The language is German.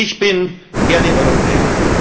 Ich bin gerne